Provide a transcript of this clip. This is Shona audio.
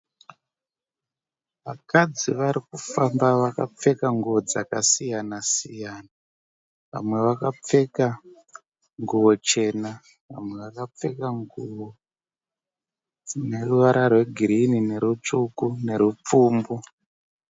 Vakadzi vari kufamba vakapfeka nguwo dzakasiyana siyana vamwe vakapfeka nguwo chena vamwe vakapfeka nguwo dzine ruvara rwegirini nerutsvuku nerwupfumbu.